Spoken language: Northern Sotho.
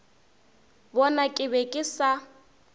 bona ke be ke sa